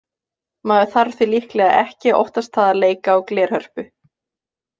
Maður þarf því líklega ekki að óttast það að leika á glerhörpu.